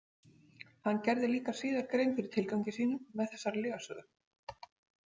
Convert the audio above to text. Hann gerði líka síðar grein fyrir tilgangi sínum með þessari lygasögu.